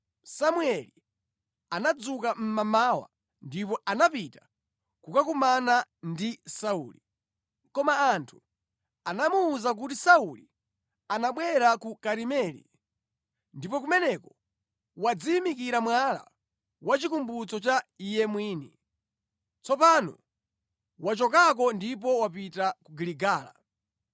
Samueli anadzuka mmamawa ndipo anapita kukakumana ndi Sauli. Koma anthu anamuwuza kuti, “Sauli anabwera ku Karimeli, ndipo kumeneko wadziyimikira mwala wachikumbutso cha iye mwini. Tsopano wachokako ndipo wapita ku Giligala.”